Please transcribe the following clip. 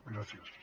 gràcies